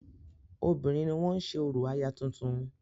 Obìnrin ni wọ́n ń ṣe orò aya tuntun.